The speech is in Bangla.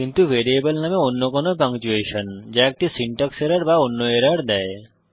কিন্তু ভ্যারিয়েবল নামে অন্য কোনো পাংচুয়েশন যা একটি সিনট্যাক্স এরর বা অন্য এরর দেয়